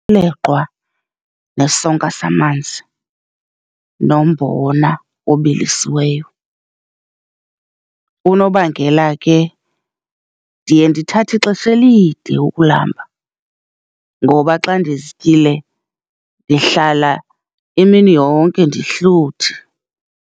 Umleqwa, nesonka samanzi, nombona obilisiweyo. Unobangela ke ndiye ndithathe ixesha elide ukulamba, ngoba xa ndizityile ndihlala imini yonke ndihluthi.